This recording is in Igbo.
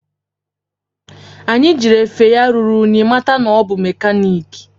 Anyi jiri efe ya ruru unyi mata na ọ bụ mekaniki